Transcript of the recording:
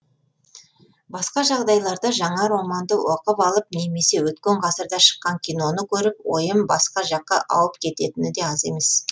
басқа жағдайларда жаңа романды оқып алып немесе өткен ғасырда шыққан киноны көріп ойым басқа жаққа ауып кететіні де аз емес